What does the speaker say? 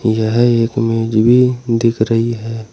यह एक मेज भी दिख रही है।